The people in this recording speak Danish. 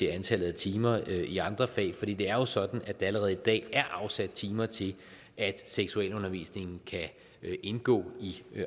antallet af timer i andre fag fordi det er jo sådan at der allerede i dag er afsat timer til at seksualundervisningen kan indgå i